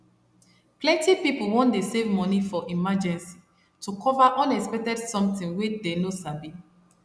plenty people wan dey save money for emergency to cover unexpected somtin wey dey no sabi